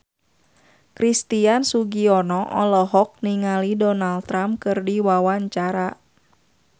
Christian Sugiono olohok ningali Donald Trump keur diwawancara